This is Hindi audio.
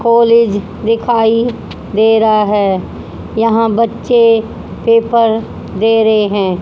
कॉलेज दिखाई दे रहा है यहां बच्चे पेपर दे रहे हैं।